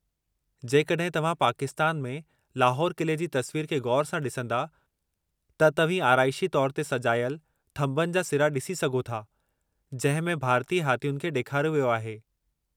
जेकड॒हिं तव्हां पाकिस्तान में लाहौर क़िले जी तस्वीरु खे ग़ौरु सां ॾिसंदा, त तव्हीं आराइशी तौरु ते सजाइल थंभनि जा सिरा डि॒सी सघो था जंहिं में भारतीय हाथियुनि खे डे॒खारियो वियो आहे।